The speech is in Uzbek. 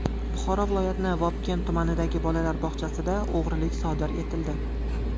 Buxoro viloyatining Vobkent tumanidagi bolalar bog‘chasida o‘g‘rilik sodir etildi.